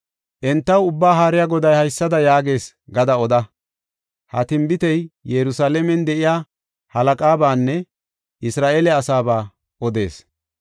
Entaw Ubbaa Haariya Goday haysada yaagees gada oda. ‘Ha tinbitey Yerusalaamen de7iya halaqabaanne Isra7eele asaaba odees.’